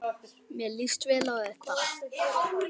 Mér líst vel á þetta.